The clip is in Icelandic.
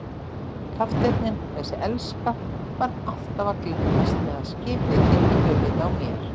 Kafteinninn, þessi elska, var alltaf að glettast með að skipið héti í höfuðið á mér.